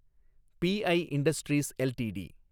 B I Industries LTD